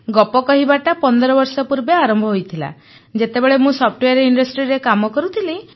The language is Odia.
ଗପ କହିବାଟା 15 ବର୍ଷ ପୂର୍ବେ ଆରମ୍ଭ ହୋଇଥିଲା ଯେତେବେଳେ ମୁଁ ସଫ୍ଟୱେୟାର ଇଣ୍ଡଷ୍ଟ୍ରିରେ କାମ କରୁଥିଲି